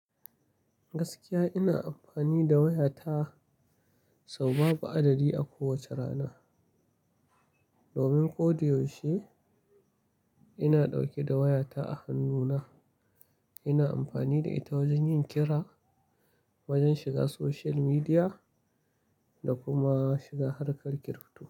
Gaskiya ina amfani da wayata sau babu adadi a kowace rana. Domin ko da yaushe ina ɗauke da wayata a hannuna. Ina amfani da ita wajen yin kira, wajen shiga social media da kuma shiga harkar kirifto.